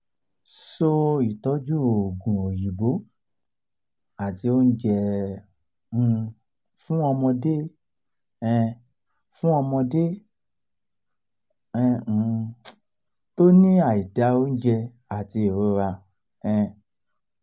so itọju oogun oyinbo ati ounje ọmọ um fun ọmọdé um fun ọmọdé um tó ní aida ounje ati irorá um